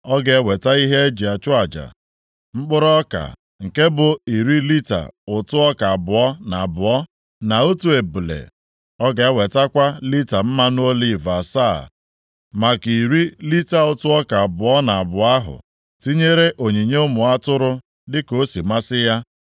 Ọ ga-eweta ihe e ji achụ aja mkpụrụ ọka, nke bụ iri lita ụtụ ọka abụọ na abụọ, na otu ebule. Ọ ga-ewetakwa lita mmanụ oliv asaa maka iri lita ụtụ ọka abụọ na abụọ ahụ, tinyere onyinye ụmụ atụrụ dịka o si masị ya.